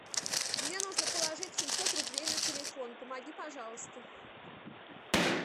мне нужно положить семьсот рублей на телефон помоги пожалуйста